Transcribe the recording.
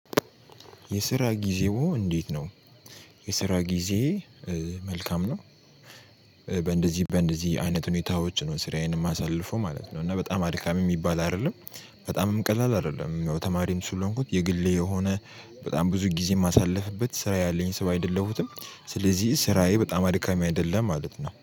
የስራ ጊዜው እንዴት ነው? የስራ ጊዜ መልካም ነው። በእንደዚህ አይነት ሁኔታዎች ነው ስራየንም እማሳልፎ ማለት ነው። እና በጣም አድካሚ የሚባል አይደለም። በጣምም ቀላል አይደለም ተማሪም ስለሆንኩት የግሌ የሆነ በጣም ብዙ ጊዜ የማሳልፍበት ስራ ያለኝ ስብ አይደለሁም። ስለዚህ ስራየ በጣም አድካሚ አይደለም ማለት ነው